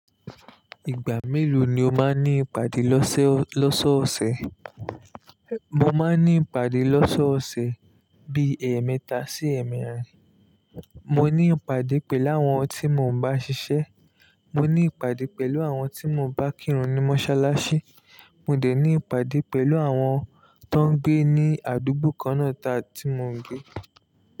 Ìgbà mélòó ni o máa ní ìpàdé lọ́sọọ ọ̀sẹ̀? Mo máa ní ìpàdé lọ́sọ̀ọ́ ọ̀sẹ̀ bi ẹ̀ẹ̀mẹta sí ẹ̀ẹ̀mẹrin. Mo ní ìpàdé pẹ̀lú àwọn tí mo ń bá ṣiṣẹ́, mo ní ìpàdé pẹ̀lú àwọn tí mo bá kírun ní mọ́ṣáláṣí, mo dẹ̀ ní ìpàdé pẹ̀lú àwọn tó ń gbé ní àdúgbò kan náà ta tí mo ń gbé.